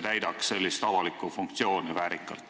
täidaks väärikalt avalikku funktsiooni?